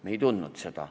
Me ei tundnud seda.